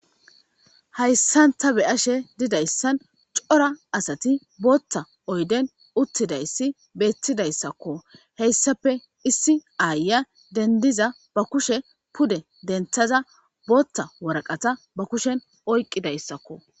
hayssanta be ashe didayssan cora asati bootta oyden uttidayssi beettidayssakko heyssafe issi aaya dendiza ba kushe pude denthaza bootta waraqata ba kushen oyqqidayssakko